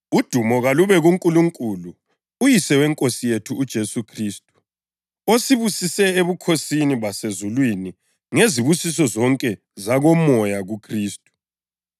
Udumo kalube kuNkulunkulu uYise weNkosi yethu uJesu Khristu, osibusise ebukhosini basezulwini ngezibusiso zonke zakomoya kuKhristu.